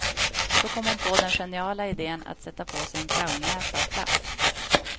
Så kom hon på den geniala idén att sätta på sig en clownnäsa av plast.